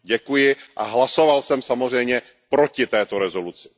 Děkuji a hlasoval jsem samozřejmě proti této rezoluci.